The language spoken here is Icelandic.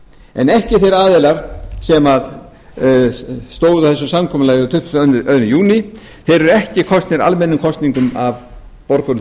en ekki þeir aðilar sem stóðu að þessu samkomulagi þann tuttugasta og öðrum júní þeir eru ekki kosnir almennum kosningum af borgurum